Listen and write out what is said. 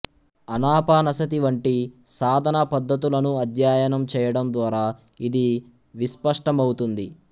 ఆనాపానసతి వంటి సాధనా పద్ధతులను అధ్యయనం చేయడం ద్వారా ఇది విస్పష్టమవుతుంది